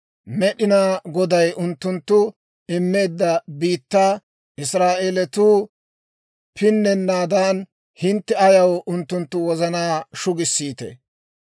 Med'inaa Goday unttunttoo immeedda biittaa Israa'eelatuu pinnennaadan, hintte ayaw unttunttu wozanaa shugissiitee?